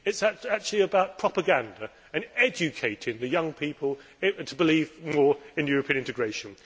it is actually about propaganda and educating young people to believe more in European integration.